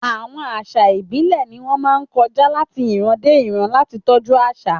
Àwọn àṣà ìbílẹ̀ ni wọ́n máa ń kọjá láti ìran dé ìran láti tọ́jú àṣà.